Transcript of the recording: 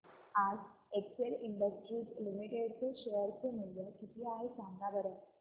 आज Excel industries limited चे share चे मूल्य किती आहे सांगा बरं